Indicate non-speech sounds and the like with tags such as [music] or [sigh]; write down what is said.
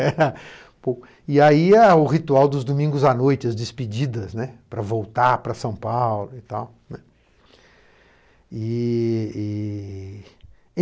[laughs] Pô. E aí é o ritual dos domingos à noite, as despedidas, né, para voltar para São Paulo e tal, né, e... e...